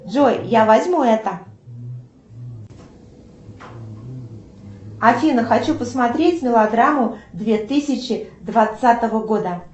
джой я возьму это афина хочу посмотреть мелодраму две тысячи двадцатого года